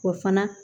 O fana